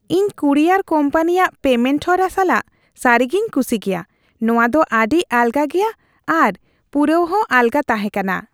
ᱤᱧ ᱠᱩᱨᱤᱭᱟᱨ ᱠᱳᱢᱯᱟᱱᱤᱭᱟᱜ ᱯᱮᱢᱮᱱᱴ ᱦᱚᱨᱟ ᱥᱟᱞᱟᱜ ᱥᱟᱹᱨᱤᱜᱮᱧ ᱠᱩᱥᱤ ᱜᱮᱭᱟ ᱾ ᱱᱚᱶᱟ ᱫᱚ ᱟᱹᱰᱤ ᱟᱞᱜᱟ ᱜᱮᱭᱟ ᱟᱨ ᱯᱩᱨᱟᱹᱣᱦᱚᱸ ᱟᱞᱜᱟ ᱛᱟᱦᱮᱸ ᱠᱟᱱᱟ ᱾